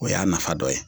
O y'a nafa dɔ ye